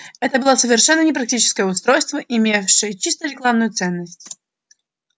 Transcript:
это было совершенно непрактичное устройство имевшее чисто рекламную ценность